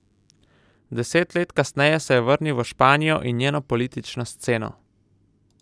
Deset let kasneje se je vrnil v Španijo in njeno politično sceno.